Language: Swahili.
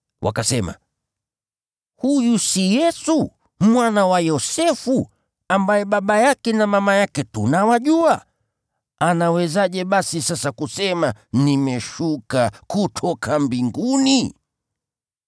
Wakasema, “Huyu si Yesu, mwana wa Yosefu, ambaye baba yake na mama yake tunawajua? Anawezaje basi sasa kusema, ‘Nimeshuka kutoka mbinguni’ ?”